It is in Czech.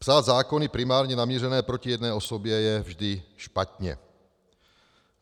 Psát zákony primárně namířené proti jedné osobě je vždy špatně.